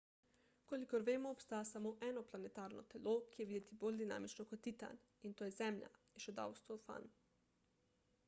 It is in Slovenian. kolikor vemo obstaja samo eno planetarno telo ki je videti bolj dinamično kot titan in to je zemlja je še dodal stofan